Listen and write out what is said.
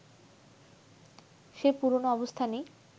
সেই পুরনো অবস্থানই